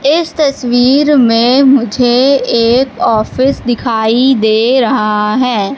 इस तस्वीर में मुझे एक ऑफिस दिखाई दे रहा है।